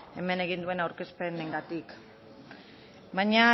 hemen egin duen aurkezpenengatik baina